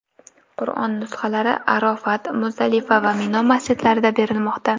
Qur’on nusxalari Arofat, Muzdalifa va Mino masjidlarida berilmoqda.